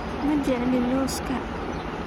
Ma jecli loska